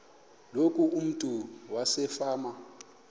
loku umntu wasefama